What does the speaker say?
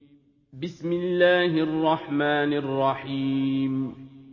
بِسْمِ اللَّهِ الرَّحْمَٰنِ الرَّحِيمِ